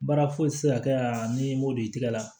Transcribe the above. Baara foyi ti se ka kɛ aa n'i m'o don i tɛgɛ la